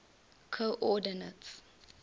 coordinates